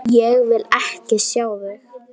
Ég vil ekki sjá þig!